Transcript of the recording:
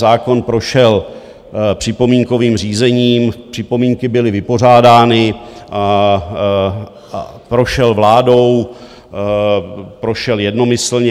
Zákon prošel připomínkovým řízením, připomínky byly vypořádány, prošel vládou, prošel jednomyslně.